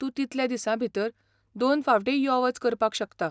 तूं तितल्या दिसां भितर दोन फावटींय यो वच करपाक शकता.